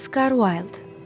Oscar Wilde.